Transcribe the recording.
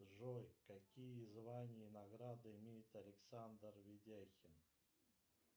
джой какие звания и награды имеет александр видяхин